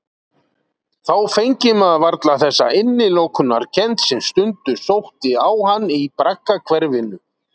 Þá fengi maður varla þessa innilokunarkennd sem stundum sótti á hann í braggahverfinu.